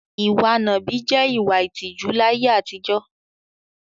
Ìwa nàbì jẹ́ ìwà ìtìjú láyé àtijọ́.